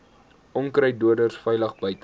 onkruiddoders veilig buite